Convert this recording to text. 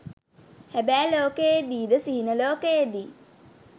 හැබෑ ලෝකයේ දී ද සිහින ලෝකයේ දී